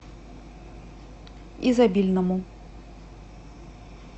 изобильному